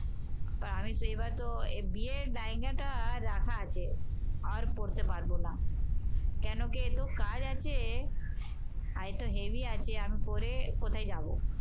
আমি সেইবারতো এই বিয়ের বায়নাটা রাখা আছে। আর পরতে পারবো না। কেন কি এত কাজ আছে আর একটু heavy আছে আমি পরে কোথায় যাব?